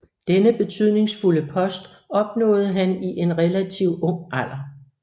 Denne betydningsfulde post opnåede han i en relativt ung alder